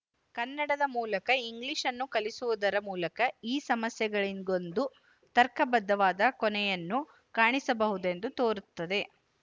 ಕನ್ನಡದ ಮೂಲಕ ಇಂಗ್ಲಿಶ್‌ನ್ನು ಕಲಿಸುವುದರ ಮೂಲಕ ಈ ಸಮಸ್ಯೆಗಳಿಗೊಂದು ತರ್ಕಬದ್ಧವಾದ ಕೊನೆಯನ್ನು ಕಾಣಿಸಬಹುದೆಂದು ತೋರುತ್ತದೆ